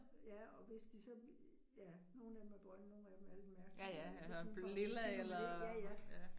Ja, og hvis de så, ja, nogle af dem er grønne, nogle er dem er lidt mærkelige, hvis man får dem for tidligt ind